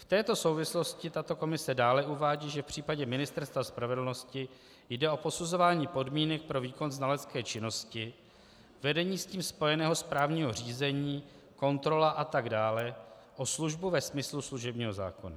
V této souvislosti tato komise dále uvádí, že v případě Ministerstva spravedlnosti jde o posuzování podmínek pro výkon znalecké činnosti, vedení s tím spojeného správního řízení, kontrola atd., o službu ve smyslu služebního zákona.